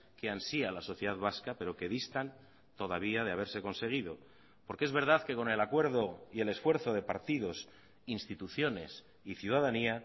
que ansía la sociedad vasca pero que distan todavía de haberse conseguido porque es verdad que con el acuerdo y el esfuerzo de partidos instituciones y ciudadanía